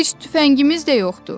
Heç tüfəngimiz də yoxdur.